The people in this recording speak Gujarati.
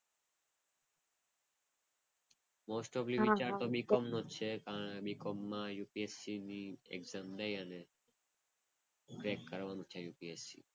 વિચારતો BCOM નો જ છે. પણ BCOM માં UPSC exam લઈ અને crack કરવાનું છે UPSC.